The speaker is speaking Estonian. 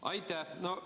Aitäh!